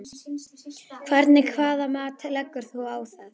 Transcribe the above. Hvernig hvaða mat leggur þú á það?